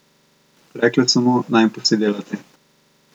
Rekle so mu, naj jim pusti delati.